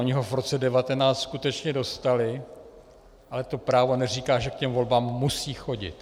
Ony ho v roce 1919 skutečně dostaly, ale to právo neříká, že k těm volbám musí chodit.